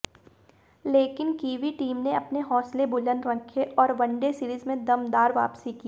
लेकिन Kiwi team ने अपने हौसले बुलंद रखे और वनडे सीरीज में दमदार वापसी की